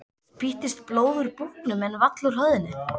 Spýttist blóð úr búknum en vall úr höfðinu.